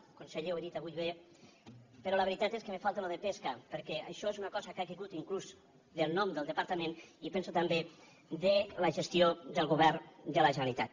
conseller ho ha dit avui bé però la veritat és que em falta allò de pesca perquè això és una cosa que ha caigut inclús del nom del departament i penso que també de la gestió del govern de la generalitat